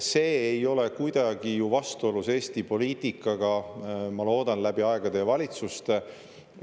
See ei ole kuidagi ju vastuolus Eesti poliitikaga, ma loodan, läbi aegade ja valitsuste.